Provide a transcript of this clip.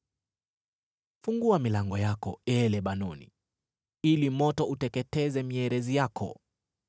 Fungua milango yako, ee Lebanoni, ili moto uteketeze mierezi yako!